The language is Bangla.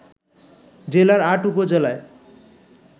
জেলার ৮ উপজেলায়